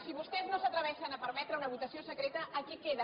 si vostès no s’atreveixen a permetre una votació secreta aquí queda